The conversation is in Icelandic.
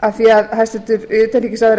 af því að hæstvirtur utanríkisráðherra talar um